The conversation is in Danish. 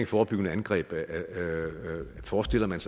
forebyggende angreb forestiller man